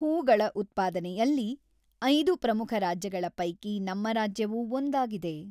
ಹೂಗಳ ಉತ್ಪಾದನೆಯಲ್ಲಿ ಐದು ಪ್ರಮುಖ ರಾಜ್ಯಗಳ ಪೈಕಿ ನಮ್ಮ ರಾಜ್ಯವೂ ಒಂದಾಗಿದೆ.